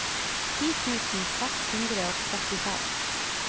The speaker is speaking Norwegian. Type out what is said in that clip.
ti tusen seks hundre og trettifem